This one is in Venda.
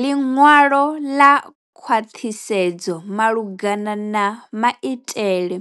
Ḽiṅwalo ḽa khwaṱhisedzo malugana na maitele